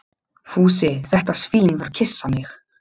Fúsi, þetta svín, var að kyssa mig.